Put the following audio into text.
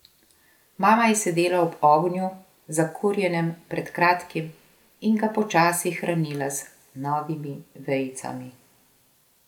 Mama je sedela ob ognju, zakurjenem pred kratkim, in ga počasi hranila z novimi vejicami.